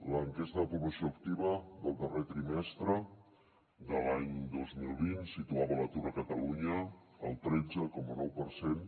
l’enquesta de població activa del darrer trimestre de l’any dos mil vint situava l’atur a catalunya al tretze coma nou per cent